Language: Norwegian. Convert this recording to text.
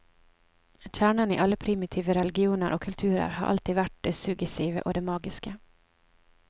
Kjernen i alle primitive religioner og kulturer har alltid vært det suggesive og det magiske.